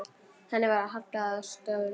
Henni var hallað að stöfum.